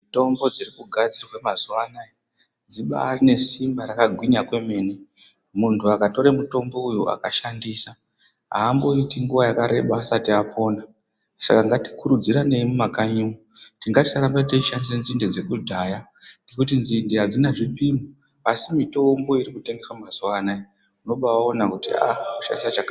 Mitombo dziri kugadzirwa mazuva anaya dzibarine simba rakagwinya kwemene. Muntu akatore mutombo uyu akashandisa hamboiti nguva yakareba asati apona. Saka ngatikurudziranei mumakanyi umu kuti ngatisarambe teishandise nzinde dzekudhaya ngekuti nzinde hadzina zvipimo. Asi mitombo iri kutengeswa mazuva anaya unobaona kuti a.